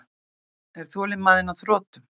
Er þolinmæðin á þrotum?